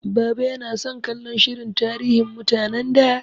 Baba yana son kallon shirin tarihin mutanen da.